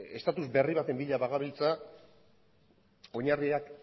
status berri baten bila bagabiltza oinarriak